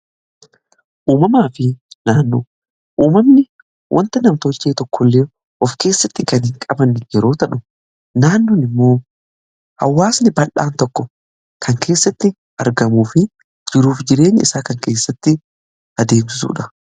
uumamaa fi naannoo uumamni wanta namtochee tokko illee of keessatti kanii qaban yerootadhu naannoon immoo hawaasni baldhaan tokko kan keessatti argamuufi jiruuf jireen isaa kan keessatti adeebsuudha